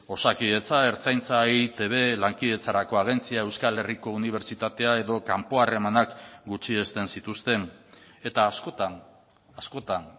osakidetza ertzaintza eitb lankidetzarako agentzia euskal herriko unibertsitatea edo kanpo harremanak gutxiesten zituzten eta askotan askotan